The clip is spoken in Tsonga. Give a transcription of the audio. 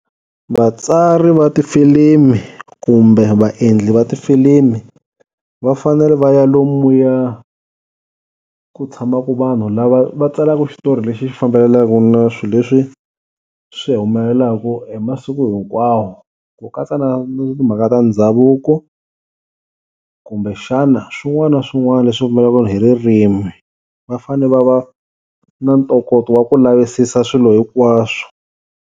Vatsari va tifilimi kumbe vaendli va tifilimi va fanele va ya lomuya ku tshamaka vanhu lava va tsalaka xitori lexi xi fambelenaku na swi leswi swi humelelaku hi masiku hinkwawo ku katsa na timhaka ta ndhavuko kumbe xana swin'wana na swin'wana leswi hi ririmi, va fane va va na ntokoto wa ku lavisisa swilo hikwaswo.